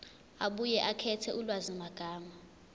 abuye akhethe ulwazimagama